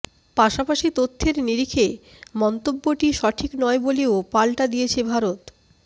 পাশাপাশি তথ্যের নিরিখে মন্তব্যটি সঠিক নয় বলেও পাল্টা দিয়েছে ভারত